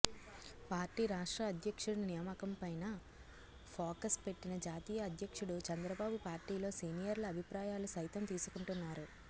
party రాష్ట్ర అధ్యక్షుడి నియామకంపైనా ఫోకస్ పెట్టిన జాతీయ అధ్యక్షుడు చంద్రబాబు పార్టీలో సీనియర్ల అభిప్రాయాలు సైతం తీసుకుంటున్నారు